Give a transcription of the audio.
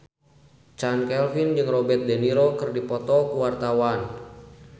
Chand Kelvin jeung Robert de Niro keur dipoto ku wartawan